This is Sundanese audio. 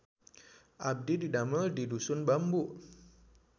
Abdi didamel di Dusun Bambu